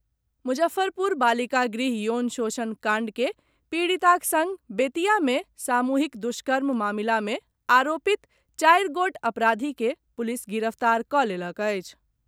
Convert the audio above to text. मुजफ्फरपुर बालिका गृह यौन शोषण कांड के पीड़िताक संग बेतिया मे सामूहिक दुष्कर्म मामिला मे आरोपित चारि गोट अपराधी के पुलिस गिरफ्तार कऽ लेलक अछि।